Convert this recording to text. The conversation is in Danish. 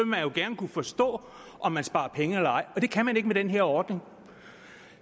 man jo gerne kunne forstå om man sparer penge eller ej det kan man ikke med den her ordning